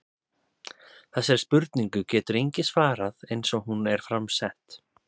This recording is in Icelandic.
Þessari spurningu getur enginn svarað eins og hún er fram sett.